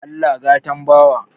Allah gatan bawa